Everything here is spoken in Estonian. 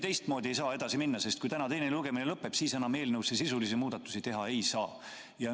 Teistmoodi me ei saa edasi minna, sest kui täna teine lugemine lõpeb, siis enam eelnõu kohta sisulisi muudatusi teha ei saa.